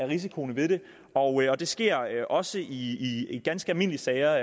risiciene ved det og det sker også i ganske almindelige sager